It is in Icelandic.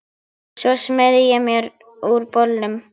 Svo smeygði ég mér úr bolnum.